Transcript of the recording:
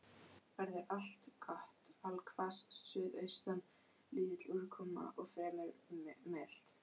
Veður allgott allhvass suðaustan lítil úrkoma og fremur milt.